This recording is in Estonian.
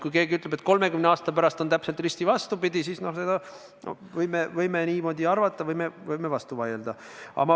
Kui keegi ütleb, et 30 aasta pärast on täpselt risti vastupidi, siis me võime niimoodi arvata ja võime vastu vaielda.